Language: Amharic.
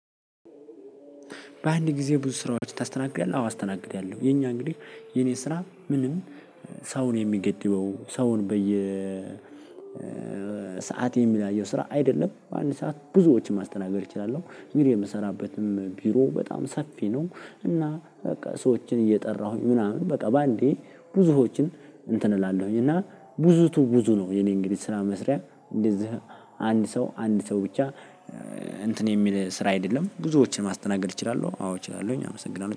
በአንድ ጊዜ ብዙ ስራዎች ታስተናግዳለህ? አዎ አስተናግድያለሁ የኛ እንግዲህ የኔ ስራ ምንም ሰው የሚገድበው ሰውን በየ ሰዓት የሚለያየው ስራ አይደለም በአንድ ሰዓት ብዙዎችን ማስተናገድ እችላለሁ። እንግዲ የምሰራበትም ቢሮ በጣም ሰፊ ነው። እና በቃ ሰዎችን እየጠራሁኝ ምናምን በቃ ባንዴ ብዙዎችን እንትን እላለሁኝ እና ብዙቱ ብዙ ነው። የኔ እንግዲህ ስራ መስሪያ እንደዚህ አንድ ሰው አንድ ሰው ብቻ እንትን የሚል ስራ አይደለም ብዙዎችን ማስተናገድ እችላለሁ። አዎ እችላለሁኝ አመሰግናለሁ